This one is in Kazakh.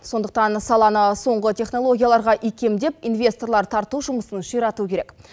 сондықтан саланы соңғы технологияларға икемдеп инвесторлар тарту жұмысын ширату керек